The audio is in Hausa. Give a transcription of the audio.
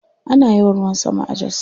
Ana yawan ruwan sama a Jos.